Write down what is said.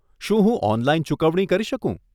શું હું ઓનલાઈન ચૂકવણી કરી શકું?